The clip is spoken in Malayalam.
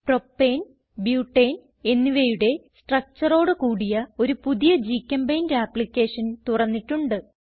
പ്രൊപ്പേൻ ബ്യൂട്ടനെ എന്നിവയുടെ structureഓട് കൂടിയ ഒരു പുതിയ ഗ്ചെമ്പെയിന്റ് ആപ്പ്ളിക്കേഷൻ തുറന്നിട്ടുണ്ട്